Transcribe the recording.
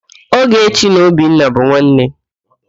Ogechi na Obinna bụ nwanne.